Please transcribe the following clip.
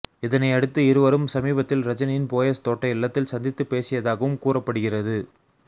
இதனை அடுத்து இருவரும் சமீபத்தில் ரஜினியின் போயஸ் தோட்ட இல்லத்தில் சந்தித்துப் பேசியதாகவும் கூறப்படுகிறது